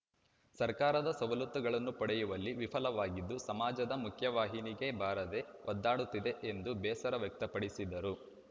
ಸರ್ಕಾರದ ಸವಲತ್ತುಗಳನ್ನು ಪಡೆಯುವಲ್ಲಿ ವಿಫಲವಾಗಿದ್ದು ಸಮಾಜದ ಮುಖ್ಯವಾಹಿನಿಗೆ ಬಾರದೇ ಒದ್ದಾಡುತ್ತಿದೆ ಎಂದು ಬೇಸರ ವ್ಯಕ್ತಪಡಿಸಿದರು